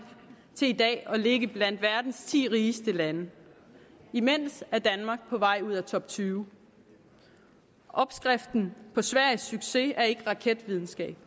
til i dag at ligge blandt verdens ti rigeste lande imens er danmark på vej ud af toptyve opskriften på sveriges succes er ikke raketvidenskab